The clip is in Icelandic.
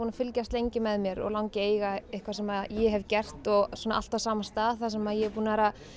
að fylgjast lengi með mér og langi að eiga eitthvað sem ég hef gert og svona allt á sama stað sem ég er búin að vera